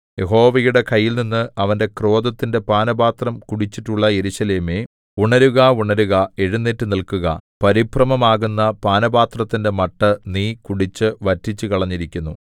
യഹോവയുടെ കൈയിൽനിന്ന് അവന്റെ ക്രോധത്തിന്റെ പാനപാത്രം കുടിച്ചിട്ടുള്ള യെരൂശലേമേ ഉണരുക ഉണരുക എഴുന്നേറ്റുനില്ക്കുക പരിഭ്രമമാകുന്ന പാനപാത്രത്തിന്റെ മട്ട് നീ കുടിച്ചു വറ്റിച്ചുകളഞ്ഞിരിക്കുന്നു